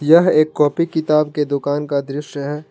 यह एक कॉपी किताब के दुकान का दृश्य है।